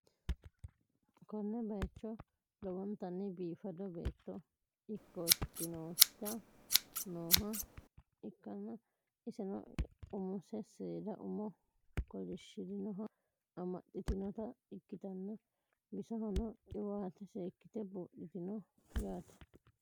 Konne bayicho lowontanni biifado beettto ikkotinoto nooha ikkanna, iseno imono seeda umo kolishshirinoha amaxxitinota ikkitanna, bisohono qiwaate seekkite buudhitinote yaate.